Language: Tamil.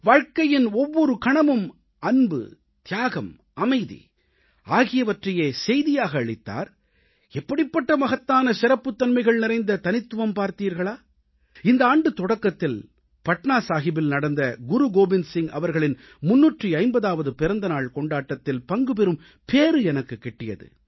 வாழ்க்கையின் ஒவ்வொரு கணமும் அன்பு தியாகம் அமைதி ஆகியவற்றையே செய்தியாக அளித்தார் எப்படிப்பட்ட மகத்தான சிறப்புத்தன்மைகள் நிறைந்த தனித்துவம் பார்த்தீர்களா இந்த ஆண்டுத் தொடக்கத்தில் பட்னாசாஹிபில் நடந்த குருகோவிந்த் சிங் அவர்களின் 350ஆவது பிறந்த நாள் கொண்டாட்டத்தில் பங்குபெறும் பேறு எனக்குக் கிட்டியது